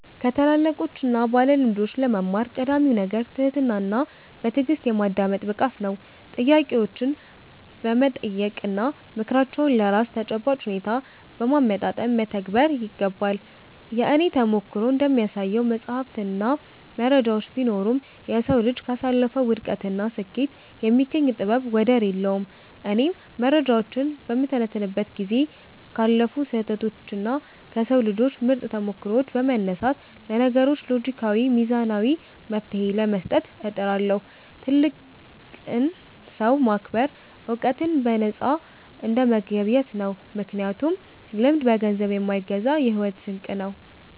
ከታላላቆችና ባለልምዶች ለመማር ቀዳሚው ነገር ትህትናና በትዕግሥት የማዳመጥ ብቃት ነው። ጥያቄዎችን በመጠየቅና ምክራቸውን ለራስ ተጨባጭ ሁኔታ በማመጣጠን መተግበር ይገባል። የእኔ ተሞክሮ እንደሚያሳየው፣ መጻሕፍትና መረጃዎች ቢኖሩም፣ የሰው ልጅ ካሳለፈው ውድቀትና ስኬት የሚገኝ ጥበብ ወደር የለውም። እኔም መረጃዎችን በምተነትንበት ጊዜ ካለፉ ስህተቶችና ከሰው ልጆች ምርጥ ተሞክሮዎች በመነሳት፣ ለችግሮች ሎጂካዊና ሚዛናዊ መፍትሔ ለመስጠት እጥራለሁ። ትልቅን ሰው ማክበር ዕውቀትን በነፃ እንደመገብየት ነው፤ ምክንያቱም ልምድ በገንዘብ የማይገዛ የሕይወት ስንቅ ነው።